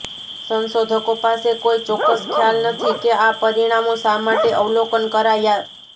સંશોધકો પાસે કોઈ ચોક્કસ ખ્યાલ નથી કે આ પરિણામો શા માટે અવલોકન કરાયા